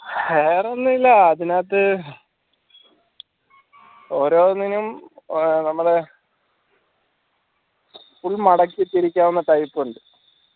വേറൊന്നുല്ല അതിനകത്ത് ഓരോന്നിനും ഓ നമ്മളെ full മടക്കി തിരിക്കാവുന്ന type ഉണ്ട്